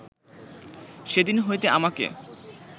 সেদিন হইতে আমাকে